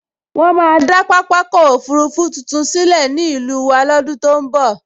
Wọ́n máa dá pápákọ̀ òfurufú tuntun sílẹ̀ ní ìlú wa lọ́dún tó n bọ̀